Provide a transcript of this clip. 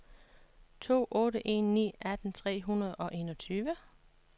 to otte en ni atten tre hundrede og enogtyve